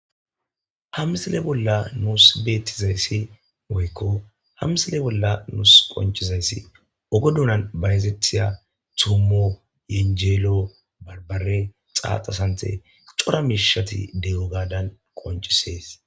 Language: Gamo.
ha misile bolla nuus beettizayssi woykko hamisile bolla nuus qoncizayssi ogo duunan bahezethiya toommo yenjeelo barbare xaaxa sante xora miishati de7o gadan qoncisees